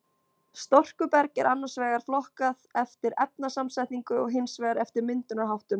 Storkuberg er annars vegar flokkað eftir efnasamsetningu og hins vegar eftir myndunarháttum.